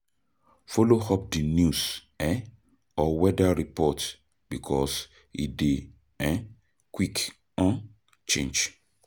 Follow up di news um or weather report because e dey um quick um change